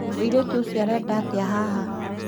Mũirĩtu ũcio arenda atĩa haha